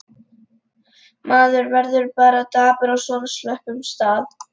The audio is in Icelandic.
Maður verður bara dapur á svona slöppum stað.